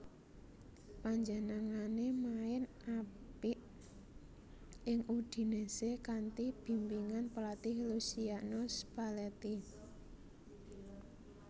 Panjenengané main apik ing Udinese kanthi bimbingan pelatih Luciano Spalletti